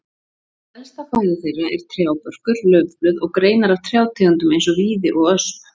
Helsta fæða þeirra er trjábörkur, laufblöð og greinar af trjátegundum eins og víði og ösp.